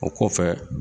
O kɔfɛ